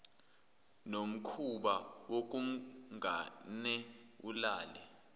nomkhuba wokungamane ulale